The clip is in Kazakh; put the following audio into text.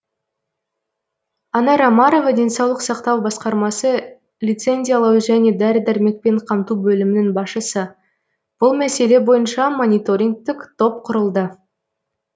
анар омарова денсаулық сақтау басқармасы лицензиялау және дәрі дәрмекпен қамту бөлімінің басшысы бұл мәселе бойынша мониторингтік топ құрылды